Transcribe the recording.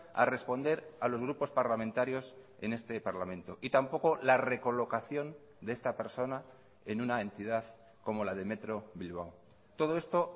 a responder a los grupos parlamentarios en este parlamento y tampoco la recolocación de esta persona en una entidad como la de metro bilbao todo esto